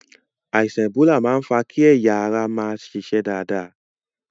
Àìsàn ẹ̀bólà máa ń fà á kí ẹ̀yà ara má ṣiṣẹ́ dáadáa.